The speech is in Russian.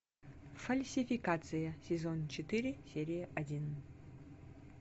фальсификация сезон четыре серия один